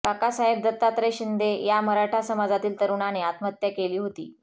काकासाहेब दत्तात्रय शिंदे या मराठा समाजातील तरुणाने आत्महत्या केली होती